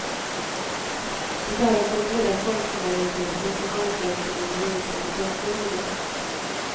Det är hos den breda folkmajoriteten som ansvaret för vår gemensamma framtid ligger.